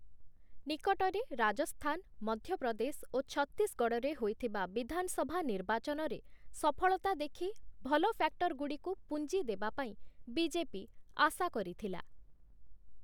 ନିକଟରେ ରାଜସ୍ଥାନ, ମଧ୍ୟପ୍ରଦେଶ ଓ ଛତିଶଗଡ଼଼ରେ ହୋଇଥିବା ବିଧାନସଭା ନିର୍ବାଚନରେ ସଫଳତା ଦେଖି ଭଲ ଫ୍ୟାକ୍ଟରଗୁଡ଼ିକୁ ପୁଞ୍ଜି ଦେବା ପାଇଁ ବିଜେପି ଆଶା କରିଥିଲା ।